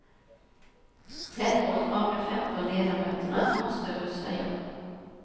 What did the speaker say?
Tretton av de femton ledamöterna måste rösta ja.